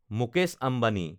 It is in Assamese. মুকেশ আম্বানী